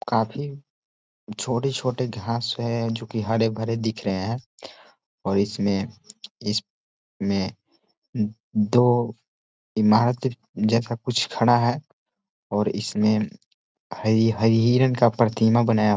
काफी छोटी-छोटी घास है जो की हरे-भरे दिख रहे है और इसमें इसमें दो ईमारत जैसा कुछ खड़ा है और इसमें ही हिरन का प्रतिमा बनाया--